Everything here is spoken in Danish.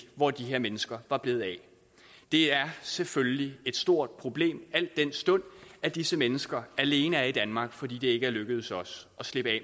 hvor de her mennesker var blevet af det er selvfølgelig et stort problem al den stund at disse mennesker alene er i danmark fordi det ikke er lykkedes os at slippe af